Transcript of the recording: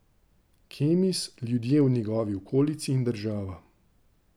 Kemis, ljudje v njegovi okolici in država.